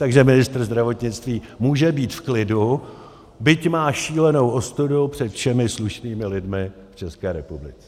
Takže ministr zdravotnictví může být v klidu, byť má šílenou ostudu před všemi slušnými lidmi v České republice.